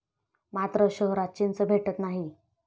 मात्र शहरात चिंच भेटत नाही